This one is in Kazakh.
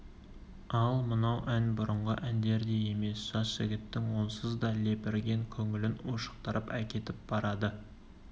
ал мынау ән бұрынғы әндердей емес жас жігіттің онсыз да лепірген көңілін ушықтырып әкетіп барады